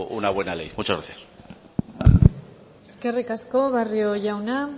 una buena ley muchas gracias eskerrik asko barrio jauna